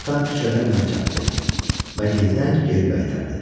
Atam küçədən mənə çatdı və yenidən geri qaytardı.